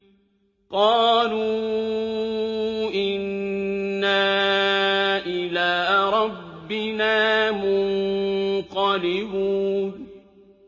قَالُوا إِنَّا إِلَىٰ رَبِّنَا مُنقَلِبُونَ